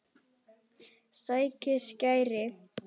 Sækir skæri.